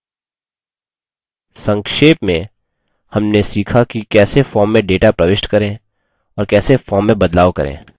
संक्षेप में हमने सीखा कि कैसे form में data प्रविष्ट करें और कैसे form में बदलाव करें